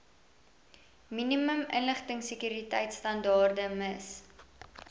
minimum inligtingsekuriteitstandaarde miss